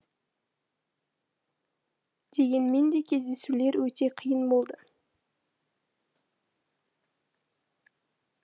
дегенмен де кездесулер өте қиын болды